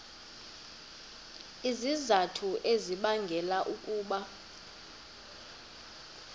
izizathu ezibangela ukuba